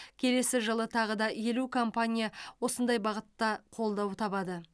келесі жылы тағы да елу компания осындай бағытта қолдау табады